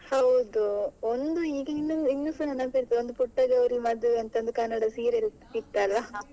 ಹೌದು ಒಂದು ಈಗಿನ್ನು ಇನ್ನು ಸಾ ನೆನಪಿರ್ತದೆ ಒಂದು ಪುಟ್ಟಗೌರಿ ಮದುವೆ ಅಂತ ಒಂದು ಕನ್ನಡ serial ಇತ್ತಲ್ಲ?